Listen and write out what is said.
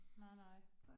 Nej nej